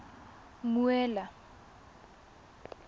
mmuela